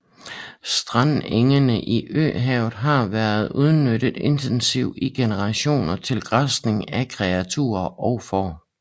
Strandengene i Øhavet har været udnyttet intensivt i generationer til græsning af kreaturer og får